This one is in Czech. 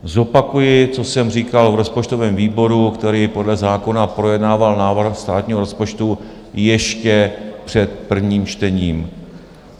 Zopakuji, co jsem říkal v rozpočtovém výboru, který podle zákona projednával návrh státního rozpočtu ještě před prvním čtením.